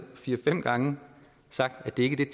fire fem gange sagt at det ikke er